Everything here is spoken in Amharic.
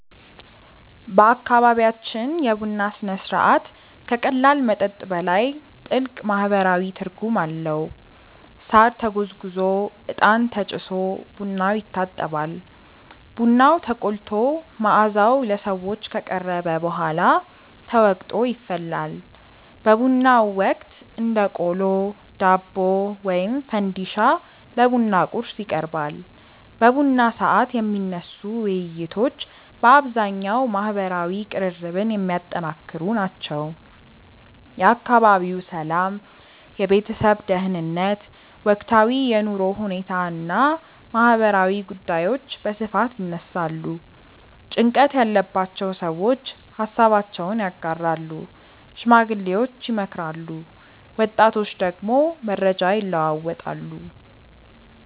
በአካባቢያችን የቡና ሥነ ሥርዓት ከቀላል መጠጥ በላይ ጥልቅ ማህበራዊ ትርጉም አለው። ሳር ተጎዝጉዞ፣ እጣን ተጭሶ ቡናው ይታጠባል። ቡናው ተቆልቶ መዓዛው ለሰዎች ከቀረበ በኋላ ተወቅጦ ይፈላል። በቡናው ወቅት እንደ ቆሎ፣ ዳቦ ወይም ፈንዲሻ ለቡና ቁርስ ይቀርባል። በቡና ሰዓት የሚነሱ ውይይቶች በአብዛኛው ማህበራዊ ቅርርብን የሚያጠነክሩ ናቸው። የአካባቢው ሰላም፣ የቤተሰብ ደህንነት፣ ወቅታዊ የኑሮ ሁኔታ እና ማህበራዊ ጉዳዮች በስፋት ይነሳሉ። ጭንቀት ያለባቸው ሰዎች ሃሳባቸውን ያጋራሉ፣ ሽማግሌዎች ይመክራሉ፣ ወጣቶች ደግሞ መረጃ ይለዋወጣሉ።